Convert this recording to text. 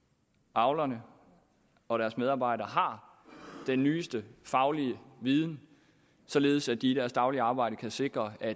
avlerne og deres medarbejdere har den nyeste faglige viden således at de i deres daglige arbejde kan sikre at